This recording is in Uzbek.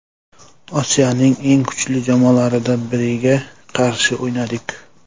Osiyoning eng kuchli jamoalardan biriga qarshi o‘ynadik.